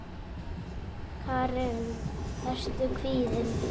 Karen: Ertu kvíðinn?